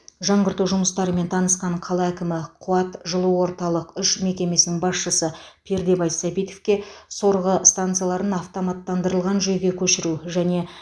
жаңғырту жұмыстарымен танысқан қала әкімі қуат жылу орталық үш мекемсінің басшысы пердебай сабитовке сорғы станцияларын автоматтандырылған жүйеге көшіру және